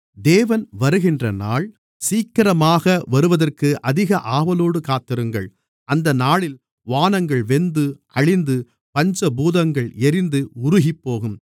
தேவன் வருகின்ற நாள் சீக்கிரமாக வருவதற்கு அதிக ஆவலோடு காத்திருங்கள் அந்த நாளில் வானங்கள் வெந்து அழிந்து பஞ்சபூதங்கள் எரிந்து உருகிப்போகும்